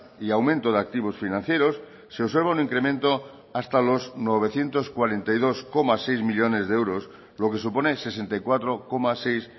y aumento de activos financieros se observa un incremento hasta los novecientos cuarenta y dos coma seis millónes de euros lo que supone sesenta y cuatro coma seis